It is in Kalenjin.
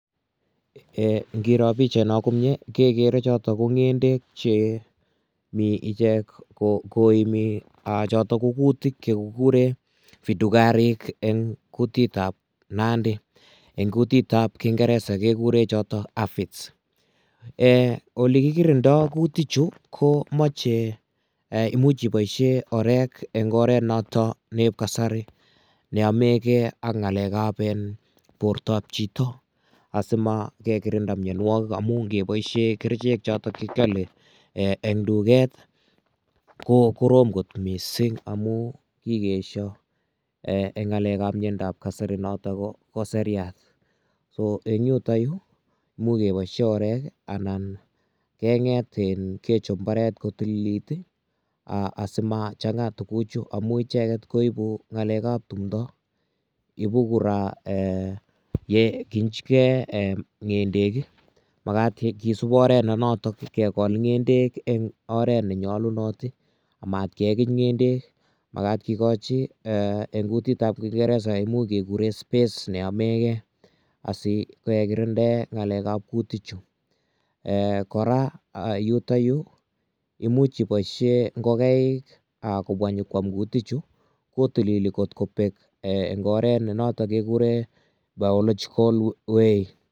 Ngiroo pichaino komie kegere choto ko ngendekche mi ichek koimi choto ko kutik chekikuren vidukarik eng kutitab nandi. Eng kutitab kingeresa kegurechoto amphids. Olegikirindo kutik chu komache ee imuch iboisien orek eng oret noto bo kasari ne yomegei ak ngalekab bortab chito asima, kegirinda mianwogik amu ngeboisie kerichek choto kiale eng tuget ko korom kot mising amun kigeesyo eng ngalekab kasari noto ko seriat. Soeng yutokyu, mukeboisien orek anan kengetin, kechop mbaret kotililit asimachanga tuguchu amu icheget koibu ngalekab tumndo. Ibu kora, yekichigei ngendek ii. Magat kisub oret ne notok kegol ngendek en oret ne nyalunot amat kegich ngendek, magat kigochi eng kutitab kingeresa imuch keguren space ne yomeigei asi kegirinden ngalekab kutichu. Kora yuto yu imuch iboisie ngogaik kobwa nyokwam kutichu. Kotilili eng oret ne noto kegure biological way.